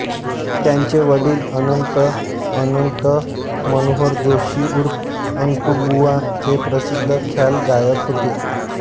त्यांचे वडील अनंत अनंत मनोहर जोशी उर्फ अंतुबुवा हे प्रसिद्ध ख्याल गायक होते